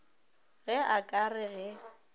ge a ka re ge